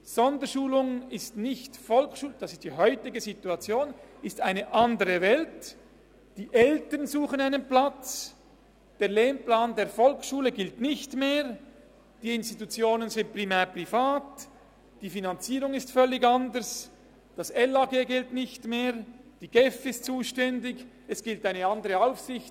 Sonderschulung ist nicht Volksschule, die Eltern suchen einen Platz, der Lehrplan der Volksschule gilt nicht mehr, die Institutionen sind primär privat, die Finanzierung ist völlig anders, das LAG gilt nicht mehr, die GEF ist zuständig, und es gilt eine andere Aufsicht.